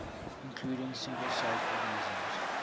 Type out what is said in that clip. including single celled organisms